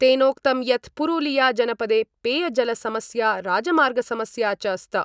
तेनोक्तं यत् पुरुलिया जनपदे पेयजलसमस्या राजमार्गसमस्या च स्त।